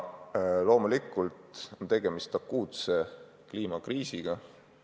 Loomulikult on tegemist akuutse kliimakriisiga.